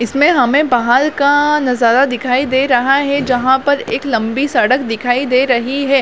इसमें हमें बहाल का नज़ारा दिखाई दे रहा है जहाँ पर एक लंबी सड़क दिखाई दे रही है।